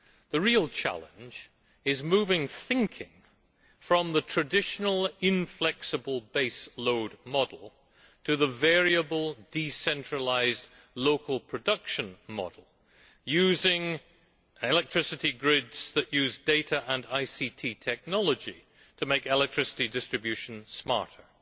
The real challenge is moving thinking from the traditional inflexible base load model to the variable decentralised local production model using electricity grids that use data and ICT technology to make electricity distribution smarter.